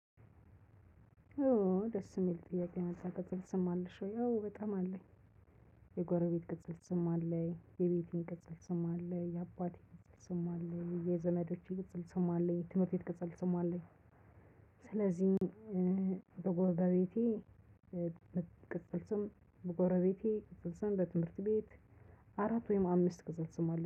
ኦ ደስ የሚል ጥያቄ ነው ቅጽል ስም አለሽ ወይ? አወ በጣም አለኝ። የጎረቤት ቅጽል ስም አለኝ የቤቴን ቅጽል ስም አለኝ የአባቴን ቅጽል ስም አለኝ የዘመዶቼ ቅጽል ስም አለኝ ትምህርት ቤት ቅጸል ስም አለኝ። ስለዚህ በጎረቤቴ ቅጽል ስም በጎረቤቴ ቅጽል ስም በትምህርት ቤት። አራት ወይም አምስት ቅጽል ስም አለ